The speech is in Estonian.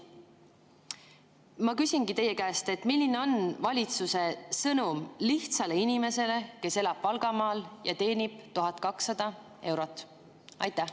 Ma küsingi teie käest: milline on valitsuse sõnum lihtsale inimesele, kes elab Valgamaal ja teenib 1200 eurot?